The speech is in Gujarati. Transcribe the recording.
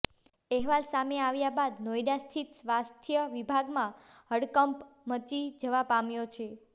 અહેવાલ સામે આવ્યા બાદ નોઈડા સ્થિત સ્વાસ્થ્ય વિભાગમાં હડકંપ મચી જવા પામ્યો છે